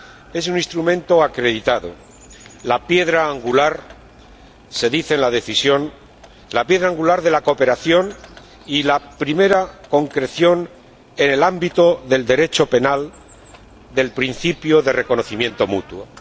Es un instrumento acreditado la piedra angular —se dice en la Decisión— de la cooperación y la primera concreción, en el ámbito del Derecho penal, del principio de reconocimiento mutuo.